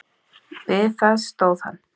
Við það stóð hann.